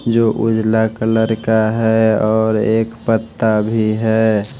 जो उजला कलर का है और एक पत्ता भी है।